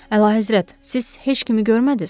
Əlahəzrət, siz heç kimi görmədiz?